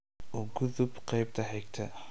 u gudub qaybta xigta